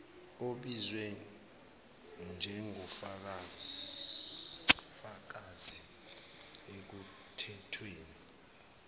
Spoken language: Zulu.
obizwe njengofakazi ekuthethweni